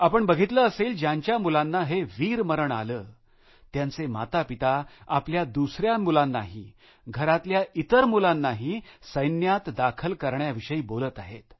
आपण बघितलं असेल ज्यांच्या मुलांना हे वीरमरण आलं त्यांचे मातापिता आपल्या दुसऱ्या मुलांनाही घरातल्या इतर मुलांनाही सैन्यात दाखल करण्याविषयी बोलत आहेत